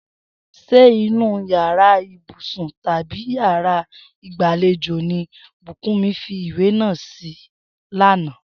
S̩e inú yàrá ìbùsùn tàbí yàrá ìgbàlejò ni Búkùnmí fi ìwé náà sí lánàá?